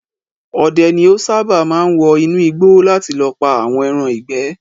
Odẹ ni ó sáábà máa ń wọ inú igbó láti lọ pà àwọn ẹran ìgbẹ́